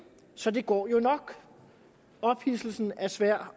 så det går jo nok ophidselsen er svær